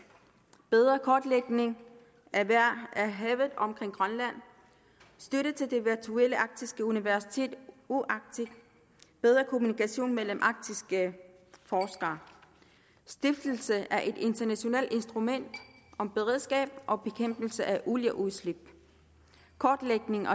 bedre kortlægning af havet omkring grønland støtte til det virtuelle arktiske universitet uarctic bedre kommunikation mellem arktiske forskere stiftelse af et internationalt instrument om beredskab og bekæmpelse af olieudslip kortlægning